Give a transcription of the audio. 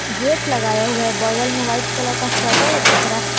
Gate लगाया हुआ है बगल में वाइट कलर का शटर दिख रहा है।